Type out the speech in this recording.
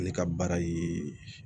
Ale ka baara ye